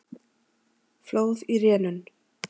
Flóð í rénun